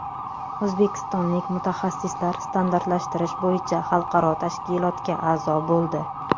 O‘zbekistonlik mutaxassislar standartlashtirish bo‘yicha xalqaro tashkilotga a’zo bo‘ldi.